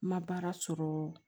N ma baara sɔrɔ